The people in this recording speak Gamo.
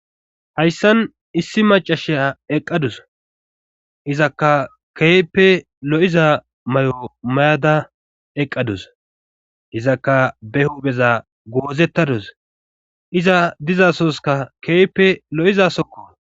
Hayssan issi macashiya eqqadus izakka keeppe lo7iza may7o may7ada eqqadus izakka be huubeza goozettadus iza dizasoska keepe lo7izasokko.